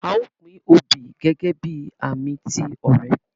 A o pin oobi gẹgẹbi ààmì ti ọrẹ.